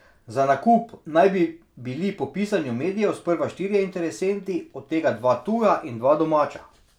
Za nakup naj bi bili po pisanju medijev sprva štirje interesenti, od tega dva tuja in dva domača.